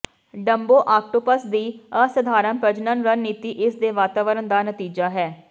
Dumbo octopus ਦੀ ਅਸਾਧਾਰਨ ਪ੍ਰਜਣਨ ਰਣਨੀਤੀ ਇਸਦੇ ਵਾਤਾਵਰਣ ਦਾ ਨਤੀਜਾ ਹੈ